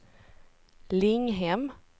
Linghem